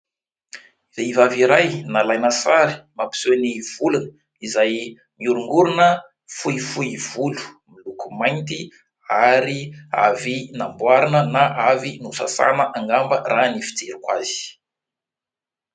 Vehivavy iray nalaina sary, mampiseho ny volony izay miorongorona, fohifohy volo, miloko mainty ary avy namboarina na avy nosasaina angamba raha ny fijeriko azy.